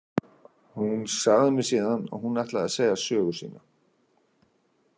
Hún sagði mér síðan að hún ætlaði að segja sögu sína.